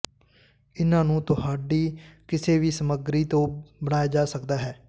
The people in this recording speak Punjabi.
ਇਹਨਾਂ ਨੂੰ ਤੁਹਾਡੀ ਕਿਸੇ ਵੀ ਸਮੱਗਰੀ ਤੋਂ ਬਣਾਇਆ ਜਾ ਸਕਦਾ ਹੈ